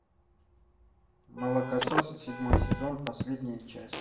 молокососы седьмой сезон последняя часть